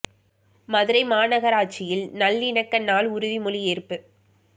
மதுரை மாநகராட்சியில் நல்லிணக்க நாள் உறுதிமொழி ஏற்பு